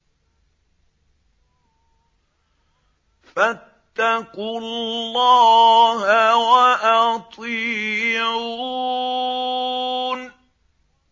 فَاتَّقُوا اللَّهَ وَأَطِيعُونِ